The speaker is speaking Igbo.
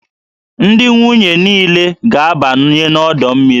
Ndị nwunye niile ga-abanye n'ọdọ mmiri